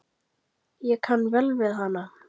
Ég kann vel við hana.